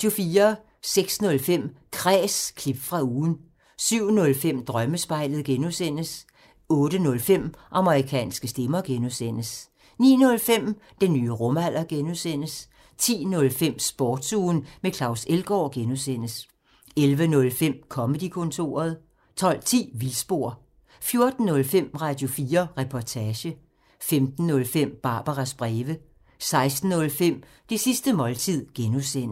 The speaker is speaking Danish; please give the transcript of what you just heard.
06:05: Kræs – klip fra ugen 07:05: Drømmespejlet (G) 08:05: Amerikanske stemmer (G) 09:05: Den nye rumalder (G) 10:05: Sportsugen med Claus Elgaard (G) 11:05: Comedy-kontoret 12:10: Vildspor 14:05: Radio4 Reportage 15:05: Barbaras breve 16:05: Det sidste måltid (G)